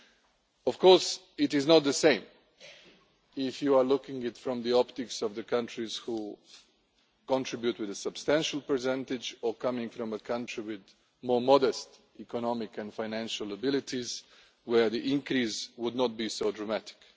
The situation is not the same if you are looking at it from the optics of the countries which contribute with a substantial percentage, or coming from a country with more modest economic and financial abilities where the increase would not be so dramatic.